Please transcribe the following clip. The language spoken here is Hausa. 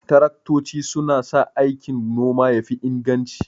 Taraktoci suna sa aikin noma ya fi inganci.